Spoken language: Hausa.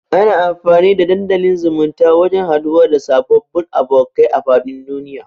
Ana amfani da dandalin zumunta wajan haduwa da sababbun abokai a fadin duniya